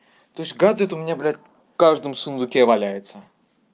то есть гаджет у меня блядь в каждом сундуке валяется